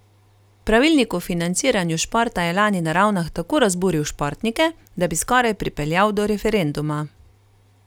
Pravilnik o financiranju športa je lani na Ravnah tako razburil športnike, da bi skoraj pripeljal do referenduma.